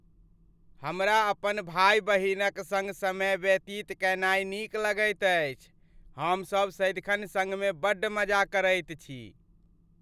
हमरा अपन भाय बहिनक सङ्ग समय व्यतीत कयनाय नीक लगैत अछि। हमसब सदिखन सङ्गमे बड्ड मजा करैत छी।